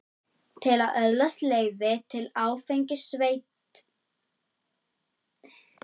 Til að öðlast leyfi til áfengisveitinga þarf að senda umsókn til viðkomandi sveitarfélags.